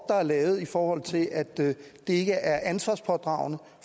er lavet i forhold til at det ikke er ansvarspådragende